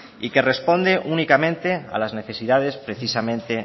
y que responde únicamente a las necesidades precisamente